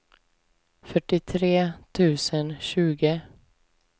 fyrtiotre tusen tjugo